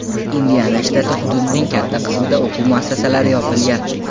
Indiana shtati hududining katta qismida o‘quv muassasalari yopilgan.